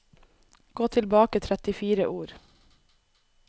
Gå tilbake trettifire ord